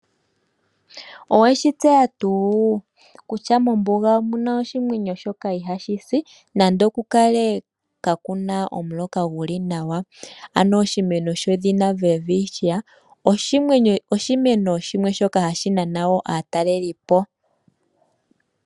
Owe shi tseya tuu kutya mombuga omu na oshimeno shoka ihashi si nando okukale kaa ku na omuloka gu li nawa? Oshimeno shedhina welwitchia oshimeno shimwe shoka hashi nana wo aatalelipo.